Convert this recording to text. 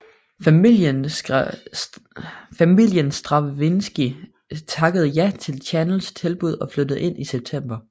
Familien Stravinskij takkede ja til Chanels tilbud og flyttede ind i september